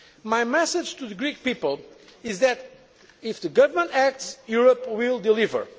My message to the Greek people is that if the government acts, Europe will